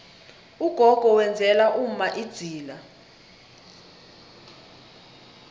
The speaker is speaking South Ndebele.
ugogo wenzela umma idzila